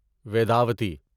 Vedavati